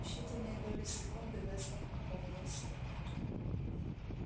в считанные доли секунды вестон опомнился